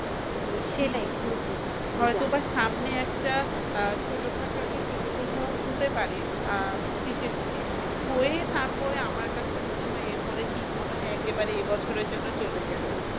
তো সেটাই পুরো পুরো হয়তো বা সামনে একটা আহ ছোটখাটো একটা সৈত প্রবাহ হতে পারে আহ শেষের দিকে হয়ে তারপরে আমার কাছে মনে হয় এরপরে শীত মনে হয় একেবারে এ বছরের জন্য চলে যাবে।